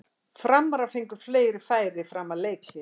Framarar fengu fleiri færi fram að leikhléi.